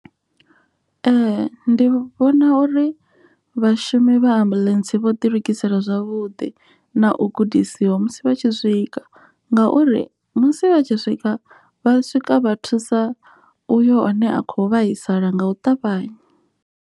Ee, ndi vhona uri vhashumi vha shumi ambuḽentse vho ḓi lugisela zwavhuḓi na u gudisiwa musi vha tshi swika, ngauri musi vha tshi swika vha swika vha thusa uyo ane a kho vhaisala nga u ṱavhanya.